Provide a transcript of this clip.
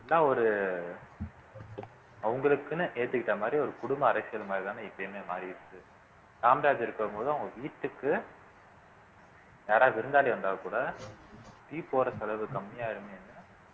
எல்லா ஒரு அவங்களுக்குன்னு ஏத்துக்கிட்ட மாதிரி ஒரு குடும்ப அரசியல் மாதிரி தானே இப்பயுமே மாறிடுச்சு காமராஜர் இருக்கும்போது அவங்க வீட்டுக்கு யாராவது விருந்தாளி வந்தா கூட tea போடுற செலவு கம்மியாயிருமேன்னு